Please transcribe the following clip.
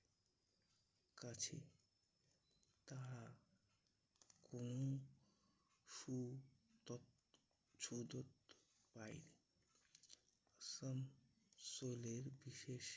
কাছে তারা কোন সু দত্ত রায়ের আসানসোলের বিশেষ